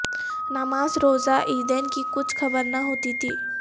نماز روزہ عیدین کی کچھ خبر نہ ہو تی تھی